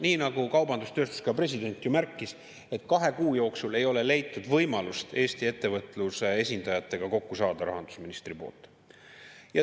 Nii nagu kaubandus-tööstuskoja president märkis, ei ole rahandusminister kahe kuu jooksul leidnud võimalust Eesti ettevõtluse esindajatega kokku saada.